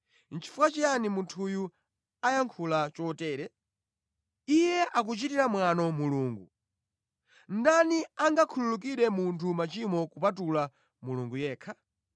“Nʼchifukwa chiyani munthuyu ayankhula chotere? Iye akuchitira mwano Mulungu! Ndani angakhululukire munthu machimo kupatula Mulungu yekha?”